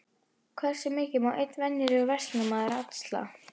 Hversu mikið má einn venjulegur verslunarmaður axla?